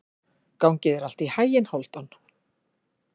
Gangi þér allt í haginn, Hálfdan.